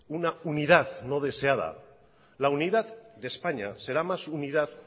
una unidad no deseada la unidad de españa será más unidad